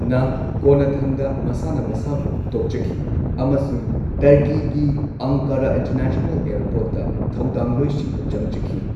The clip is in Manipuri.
ꯅ ꯀꯣꯟꯅꯊꯪꯗ ꯃꯁꯥꯅ ꯃꯁꯥꯕꯨ ꯇꯣꯛꯆꯈꯤ ꯑꯃꯁꯨꯡ ꯇꯔꯀꯤꯒꯤ ꯑꯡꯀꯥꯔꯥ ꯏꯟꯇꯔꯅꯦꯁꯅꯦꯜ ꯑꯦꯌꯔꯄꯣꯔꯠꯇ ꯊꯧꯗꯥꯡꯂꯣꯏꯁꯤꯡꯗ ꯆꯪꯖꯈꯤ꯫